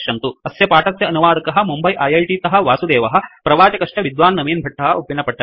अस्य पाठस्य अनुवादकः मुम्बै ऐ ऐ टि तःवासुदेवः प्रवाचकश्च विद्वान् नवीन भट्टः उप्पिनपट्टणम्